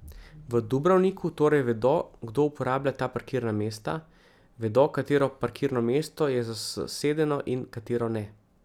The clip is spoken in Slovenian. V Dubrovniku torej vedo, kdo uporablja ta parkirna mesta, vedo, katero parkirno mesto je zasedeno in katero ne.